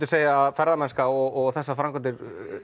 segja að ferðamennska og þessar framkvæmdir